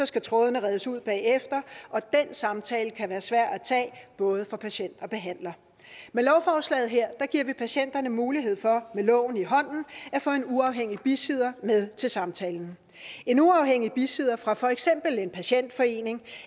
skal trådene redes ud bagefter og den samtale kan være svær at tage både for patient og behandler med lovforslaget her giver vi patienterne mulighed for med loven i hånden at få en uafhængig bisidder med til samtalen en uafhængig bisidder fra for eksempel en patientforening